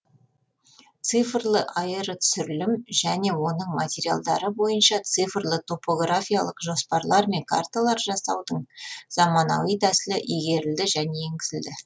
цифрлы аэротүсірілім және оның материалдары бойынша цифрлы топографиялық жоспарлар мен карталар жасаудың заманауи тәсілі игерілді және енгізілді